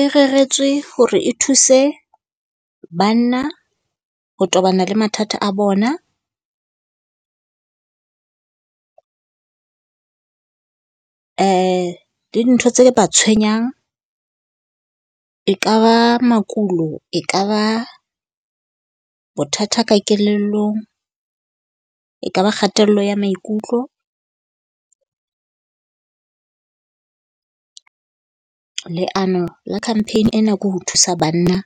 E reretswe hore e thuse banna ho tobana le mathata a bona. Le dintho tse ba tshwenyang e ka ba makulo, e ka ba bothata ka kelellong, e ka ba kgatello ya maikutlo. Leano la campaign ena ko ho thusa banna